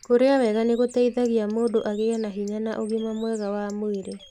Kũrĩa wega nĩ gũteĩthagĩa mũndũ agĩe na hinya na ũgima mwega wa mwĩrĩ.